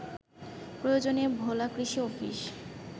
প্রয়োজনে ভোলা কৃষি অফিস